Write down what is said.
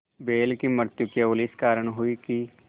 बैल की मृत्यु केवल इस कारण हुई कि